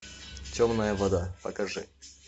темная вода покажи